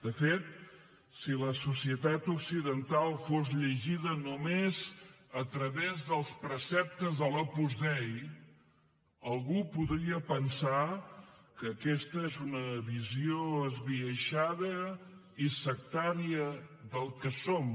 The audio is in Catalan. de fet si la societat occidental fos llegida només a través dels preceptes de l’opus dei algú podria pensar que aquesta és una visió esbiaixada i sectària del que som